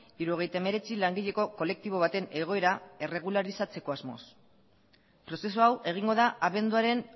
hirurogeita hemeretzi langileko kolektibo baten egoera erregularizatzeko asmoz prozesu hau egingo da abenduaren